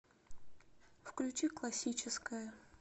включи классическая